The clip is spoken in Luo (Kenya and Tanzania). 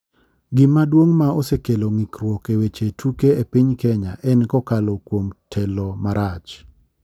Gima duong' ma osekelo ng'irkuok e weche tuke e piny kenya en kokalo kuom telo marach.